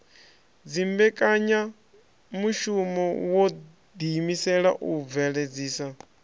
dzimbekanyamushumo wo ḓiimisela u bveledzisa